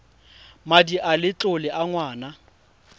madi a letlole a ngwana